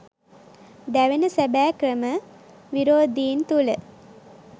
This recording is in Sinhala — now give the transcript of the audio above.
දැවෙන සැබෑ ක්‍රම විරෝධීන් තුළ